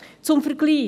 Zum Vergleich: